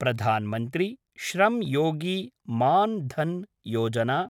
Pradhan Mantri Shram Yogi Maan-dhan Yojana